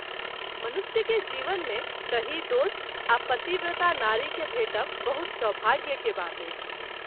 मनुष्य के जीवन मे सही दोस्त आ पतिव्रता नारी के भेटब बहुत सौभाग्य केर बात अछि।